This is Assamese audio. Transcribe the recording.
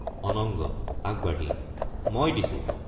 অনঙ্গ—আগবাঢ়ি মই দিছো।